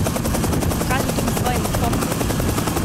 Pokaži tudi svojemu fotru!